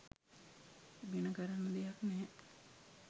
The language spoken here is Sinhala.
වෙන කරන්න දෙයක් නැහැ